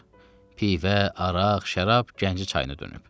Pivə, araq, şərab, Gəncə çayını dönüb.